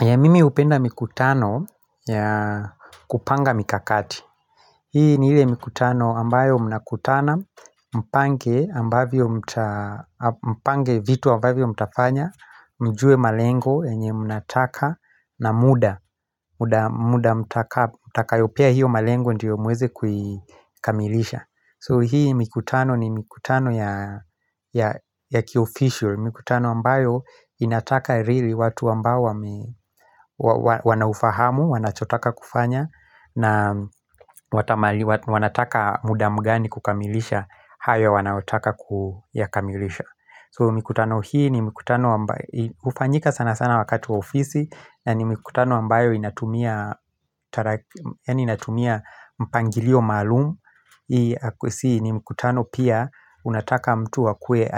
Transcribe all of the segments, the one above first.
Ye mimi hupenda mikutano ya kupanga mikakati Hii ni ile mikutano ambayo mnakutana mpange Mpange vitu ambavyo mtafanya Mjue malengo yenye mnataka na muda muda mtakayo pea hiyo malengo ndiyo muweze kuikamilisha So hii mikutano ni mikutano ya ya kioficial mikutano ambayo inataka rili watu ambao wanaufahamu, wanachotaka kufanya na watamali, wanataka muda mgani kukamilisha hayo wanaotaka kuyakamilisha So mikutano hii ni mikutano ambayo hufanyika sana sana wakati wa ofisi na ni mikutano ambayo inatumia, yaani inatumia mpangilio maalumu Si ni mkutano pia unataka mtu akue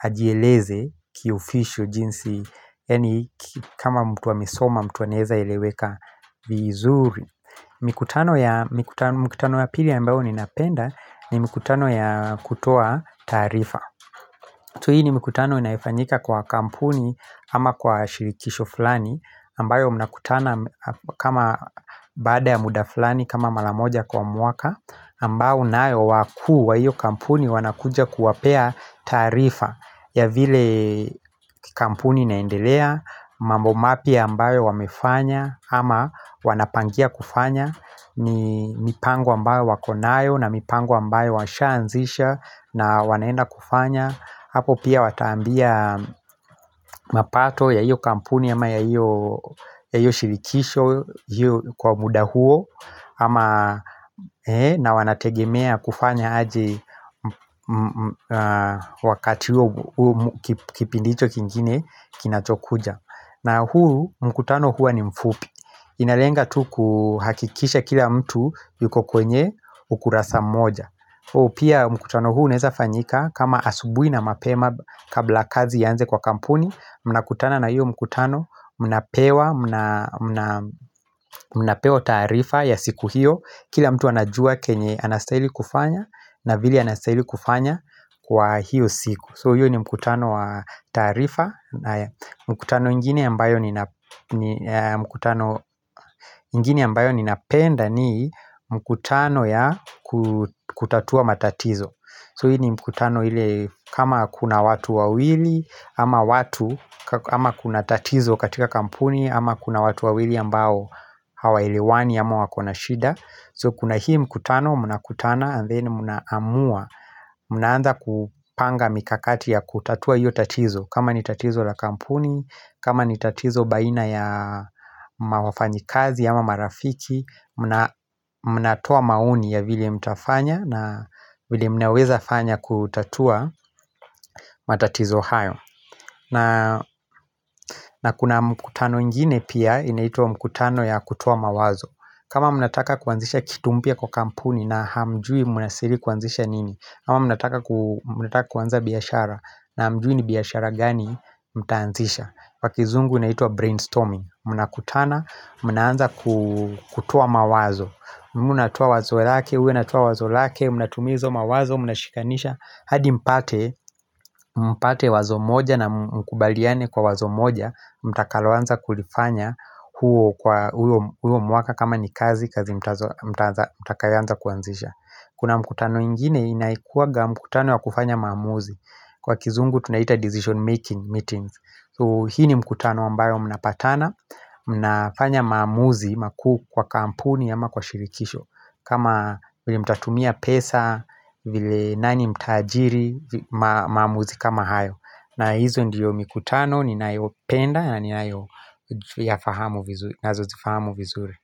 ajieleze kiofishol jinsi yani kama mtu amesoma mtu anezaeleweka vizuri mikutano ya, mkutano wa pili ambao ni napenda ni mikutano ya kutoa taarifa tu hii ni mkutano inaifanyika kwa kampuni ama kwa shirikisho fulani ambayo mnakutana kama baada ya muda flani kama maramoja kwa mwaka ambao nayo wakuu wa iyo kampuni wanakuja kuwapea taarifa ya vile kampuni inaendelea mambo mapya ambayo wamefanya ama wanapangia kufanya ni mipango ambayo wako nayo na mipango ambayo washa anzisha na wanaenda kufanya hapo pia wataambia mapato ya hiyo kampuni ama ya hiyo shirikisho kwa muda huo Ama na wanategemea kufanya aje wakati huo kipindicho kingine kinachokuja na huu mkutano huwa ni mfupi Inalenga tu kuhakikisha kila mtu yuko kwenye ukurasa moja Pia mkutano huu unaeza fanyika kama asubui na mapema kabla kazi ianze kwa kampuni mnakutana na hiyo mkutano mnapewa mnapewa taarifa ya siku hiyo Kila mtu anajua kenye anastahili kufanya na vile anastahili kufanya kwa hiyo siku So hiyo ni mkutano wa taarifa mkutano ingine ambayo ni napenda ni mkutano ya kutatua matatizo So hii mkutano ile kama kuna watu wawili ama watu Ama kuna tatizo katika kampuni ama kuna watu wawili ambao hawa elewani ama wakona shida So kuna hii mkutano munakutana and then muna amua Mnaanza kupanga mikakati ya kutatua hiyo tatizo kama ni tatizo la kampuni, kama ni tatizo baina ya mawafanyikazi ama marafiki munatoa maoni ya vile mtafanya na vile mnaweza fanya kutatua matatizo hayo na kuna mkutano ingine pia inaitwa mkutano ya kutoa mawazo kama munataka kuanzisha kitu mpya kwa kampuni na hamjui munastahili kuanzisha nini ama munataka kuanza biashara na hamjui ni biashara gani mtaanzisha kwa kizungu inaitwa brainstorming munakutana, muna anza kutoa mawazo Munatowa wazo lake, huyu anatowa wazo lake, mnatumia hizo mawazo, mnashikanisha hadi mpate, mpate wazo moja na mkubaliane kwa wazo moja Mtakaloanza kulifanya huo kwa huo mwaka kama ni kazi kazi mtakayo anza kuanzisha Kuna mkutano ingine inaekuwaga mkutano ya kufanya maamuzi Kwa kizungu tunaita decision making meetings Hii ni mkutano ambayo mnapatana, mnafanya maamuzi, makuu kwa kampuni ama kwa shirikisho kama vile mtatumia pesa, vile nani mta ajiri, maamuzi kama hayo na hizo ndiyo mikutano, ninayopenda, naninayo yafahamu nazo zifahamu vizuri.